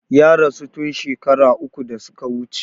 Ya rasu tun shakara uku da su ka wuce.